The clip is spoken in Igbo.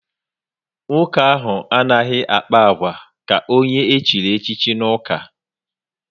Nwoke ahụ anaghị akpa agwa ka onye echiri echi n'uka